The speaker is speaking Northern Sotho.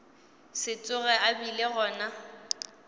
se tsoge a bile gona